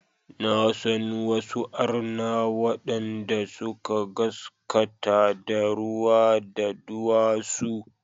Na san wasu arna waɗanda suka gaskata da ruwa, da duwatsu.